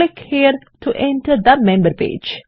click here to enter the member page